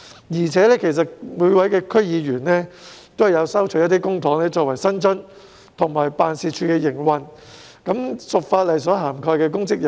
而且，區議員亦收取公帑作為薪津和支付辦事處的營運開支，屬法例所涵蓋的公職人員。